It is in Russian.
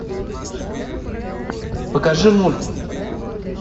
покажи мульт